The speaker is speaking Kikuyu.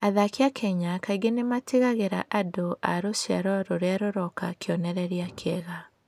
Athaki a Kenya kaingĩ nĩ matigagĩra andũ a rũciaro rũrĩa rũroka kĩonereria kĩega.